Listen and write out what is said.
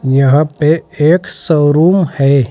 यहां पे एक शोरूम है।